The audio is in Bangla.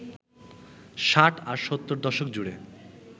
ষাট আর সত্তর দশক জুড়ে